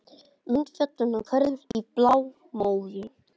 Mynd fjallanna hverfur í blámóðu.